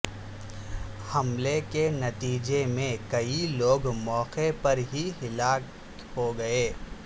حملے کے نتیجے میں کئی لوگ موقع پر ہی ہلاک ہو گئے